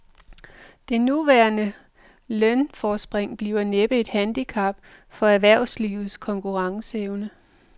Det nuværende lønforspring bliver næppe et handicap for erhvervslivets konkurrenceevne.